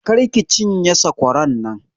Kar ki cinye sakwaran nan!